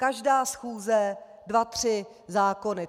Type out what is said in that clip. Každá schůze dva tři zákony.